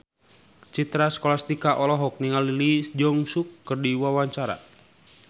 Citra Scholastika olohok ningali Lee Jeong Suk keur diwawancara